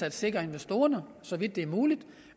at sikre investorerne så vidt det er muligt